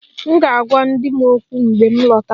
M ga-agwa di m okwu mgbe m lọtara